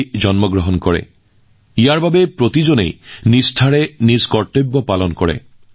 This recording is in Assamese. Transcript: ইয়াৰ বাবে মানুহে সম্পূৰ্ণ ভক্তিৰে নিজৰ কৰ্তব্য পালন কৰে